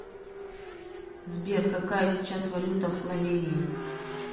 сбер какая сейчас валюта в словении